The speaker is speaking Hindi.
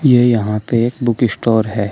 ये यहां पे एक बुक स्टोर है।